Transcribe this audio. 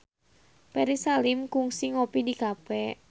Ferry Salim kungsi ngopi di cafe